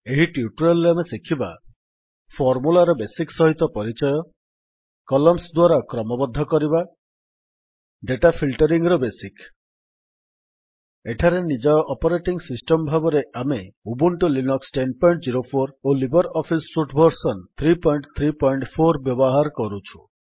ଏହି ଟ୍ୟୁଟୋରିଆଲ୍ ରେ ଆମେ ଶିଖିବା ଫର୍ମୁଲାର ବେସିକ୍ ସହିତ ପରିଚୟ କଲମ୍ନସ୍ ଦ୍ୱାରା କ୍ରମବଦ୍ଧ କରିବା ଡେଟା ଫିଲ୍ଟରିଙ୍ଗ୍ ର ବେସିକ୍ ଏଠାରେ ନିଜ ଅପରେଟିଙ୍ଗ୍ ସିଷ୍ଟମ୍ ଭାବରେ ଆମେ ଉବୁଣ୍ଟୁ ଲିନକ୍ସ ୧୦୦୪ ଓ ଲିବର୍ ଅଫିସ୍ ସୁଟ୍ ଭର୍ସନ୍ ୩୩୪ ବ୍ୟବହାର କରୁଛୁ